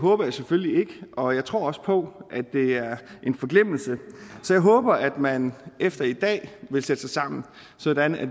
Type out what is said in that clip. håber jeg selvfølgelig ikke og jeg tror også på at det er en forglemmelse så jeg håber at man efter i dag vil sætte sig sammen sådan at